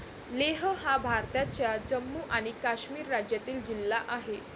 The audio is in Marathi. लेह हा भारताच्या जम्मू आणि काश्मीर राज्यातील जिल्हा आहे.